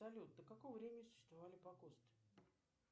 салют до какого времени существовали погосты